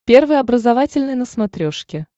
первый образовательный на смотрешке